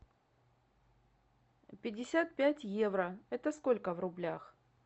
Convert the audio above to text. пятьдесят пять евро это сколько в рублях